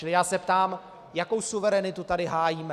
Čili já se ptám, jakou suverenitu tady hájíme.